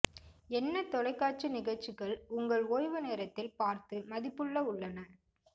என்ன தொலைக்காட்சி நிகழ்ச்சிகள் உங்கள் ஓய்வு நேரத்தில் பார்த்து மதிப்புள்ள உள்ளன